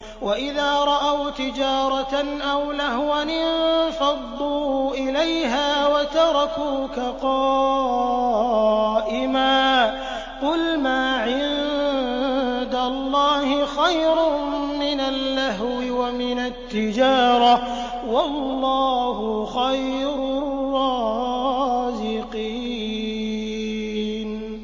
وَإِذَا رَأَوْا تِجَارَةً أَوْ لَهْوًا انفَضُّوا إِلَيْهَا وَتَرَكُوكَ قَائِمًا ۚ قُلْ مَا عِندَ اللَّهِ خَيْرٌ مِّنَ اللَّهْوِ وَمِنَ التِّجَارَةِ ۚ وَاللَّهُ خَيْرُ الرَّازِقِينَ